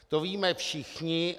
To víme všichni.